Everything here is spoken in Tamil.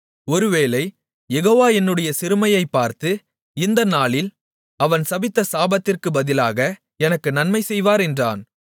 ஒருவேளை யெகோவா என்னுடைய சிறுமையைப் பார்த்து இந்த நாளில் அவன் சபித்த சாபத்திற்குப் பதிலாக எனக்கு நன்மை செய்வார் என்றான்